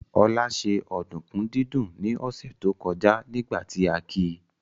Olá ṣe ọ̀dùnkún dídún ní ọ̀sẹ̀ tó kọjá nígbà tí a ki